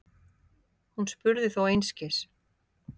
Hún spurði þó einskis.